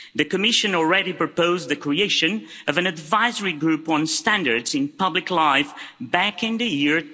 The Commission already proposed the creation of an advisory group on standards in public life back in the year